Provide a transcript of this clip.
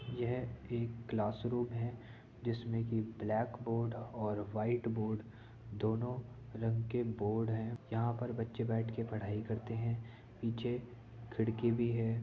यह एक class room है जिसमे कि ब्लैक बोर्ड और वाइट बोर्ड दोनों रंग के बोर्ड है यहाँ पर बच्चे बैठ के पढ़ाई करते हैं पीछे खिड़की भी है।